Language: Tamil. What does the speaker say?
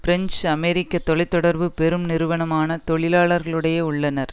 பிரெஞ்சு அமெரிக்க தொலை தொடர்பு பெரும் நிறுவனமான தொழிலாளர்களுடைய உள்ளனர்